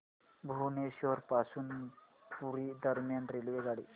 भुवनेश्वर पासून पुरी दरम्यान रेल्वेगाडी